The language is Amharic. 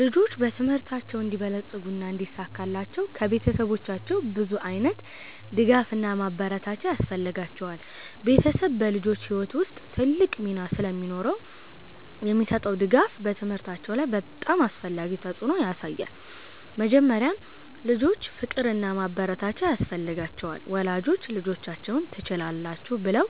ልጆች በትምህርታቸው እንዲበለጽጉና እንዲሳካላቸው ከቤተሰቦቻቸው ብዙ ዓይነት ድጋፍና ማበረታቻ ያስፈልጋቸዋል። ቤተሰብ በልጆች ሕይወት ውስጥ ትልቅ ሚና ስለሚኖረው የሚሰጠው ድጋፍ በትምህርታቸው ላይ በጣም አስፈላጊ ተፅዕኖ ያሳያል። መጀመሪያ፣ ልጆች ፍቅርና ማበረታቻ ያስፈልጋቸዋል። ወላጆች ልጆቻቸውን “ትችላላችሁ” ብለው